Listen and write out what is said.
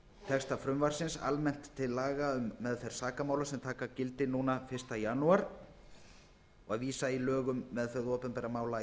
texta frumvarpsins almennt til laga um meðferð sakamála sem taka munu gildi fyrsta janúar og að vísa í lög um meðferð opinberra mála í